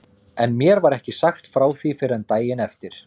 En mér var ekki sagt frá því fyrr en daginn eftir.